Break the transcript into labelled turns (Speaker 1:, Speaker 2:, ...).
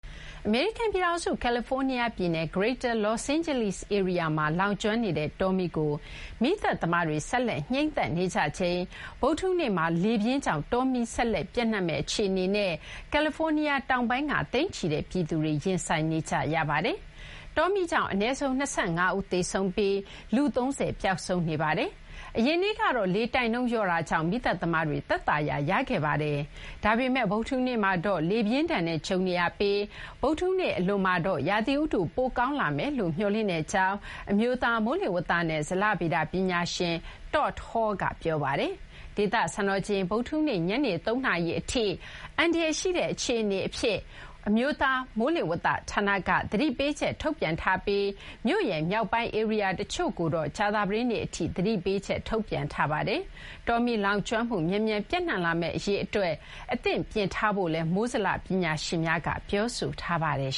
Speaker 1: အမေရိကန် ပြည်ထောင်စု ကယ်လီဖိုးနီးယား ပြည်နယ် Greater Los Angeles ဧရိယာမှာ လောင်ကျွမ်းနေတဲ့ တောမီးကို မီးသတ်သမားတွေ ဆက်လက် ငြိမ်းသတ်နေကြချိန်မှာဘဲ ဗုဒ္ဓဟူးနေ့မှာ လေပြင်းကြောင့် တောမီး ဆက်လက် ပျံ့နှံ့မယ့် အခြေအနေနဲ့ ကယ်လီဖိုးနီးယား တောင်ပိုင်းက သိန်းချီတဲ့ ပြည်သူတွေ ရင်ဆိုင်နေကြရပါတယ်။ တောမီး ကြောင့် အနည်းဆုံး ၂၅ ဦး သေဆုံးပြီး လူ ၃၀ ပျောက်ဆုံးနေပါတယ်။ အရင်နေ့ကတော့ လေတိုက်နှုန်း လျော့တာကြောင့် မီးသတ်သမားတွေ သက်သာရာ ရခဲ့ပါတယ်။ ဒါပေမဲ့ ဗုဒ္ဓဟူးနေ့မှာတော့ လေပြင်းဒဏ်နဲ့ ကြုံနေရပြီး ဗုဒ္ဓဟူနေ့ အလွန်မှာတော့ ရာသီဥတု ပိုကောင်းလာမယ်လို့ မျှော်လင့်ကြောင်း အမျိုးသား မိုးလေဝသနဲ့ ဇလဗေဒ ပညာရှင် Todd Hall က ပြောပါတယ်။ ဒေသ စံတော်ချိန် ဗုဒ္ဓဟူးနေ့ ညနေ ၃ နာရီထိ အန္တရာယ်ရှိတဲ့ အခြေအနေအဖြစ် အမျိုးသား မိုးလေဝသ ဌာနက သတိပေးချက် ထုတ်ပြန်ထားပြီး မြို့ရဲ့ မြောက်ပိုင်း ဧရိယာ တချို့ကိုတော့ ကြာသပတေးနေ့ အထိ သတိပေးချက် ထုတ်ပြန်ထားပါတယ်။ တောမီး လောင်ကျွမ်းမှု မြန်မြန် ပျံ့နှံ့လာမယ့် အရေး အတွက် အသင့်ပြင်ထားဖို့လည်း မိုးဇလ ပညာရှင်များက ပြောဆို
Speaker 2: ထားပါတယ်